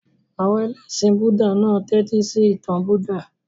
Àwọn ẹlẹ́ṣin Búúdà náà tẹ́tísí ìtàn Buddha.